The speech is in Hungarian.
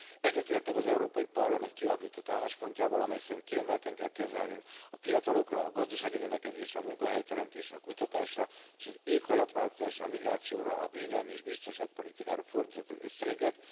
Egyetértek az Európai Parlament kialakított álláspontjával, amely szerint kiemelten kell kezelnünk a fiatalokra, a gazdasági növekedésre, a munkahelyteremtésre, a kutatásra és az éghajlatváltozásra, a migrációra, a védelemi és biztonságpolitikára fordítható összegeket.